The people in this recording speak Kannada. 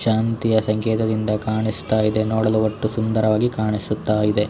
ಶಾಂತಿಯ ಸಂಕೇತದಿಂದ ಕಾಣಿಸುತ್ತ ಇದೆ ನೋಡಲು ಒಟ್ಟು ಸುಂದರವಾಗಿ ಕಾಣಿಸುತ್ತ ಇದೆ.